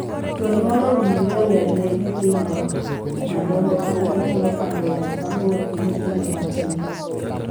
Jonyuol owinjore olerne nyithindo madongo kaka ginyalo pando yath mabor gi nyithindo matindo.